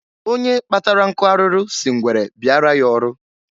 Onye kpatara nkụ arụrụ si ngwere bịara ya ọrụ.